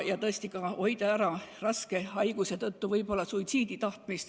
Tõesti tuleb ka hoida ära näiteks raske haiguse tõttu suitsiidisoovi.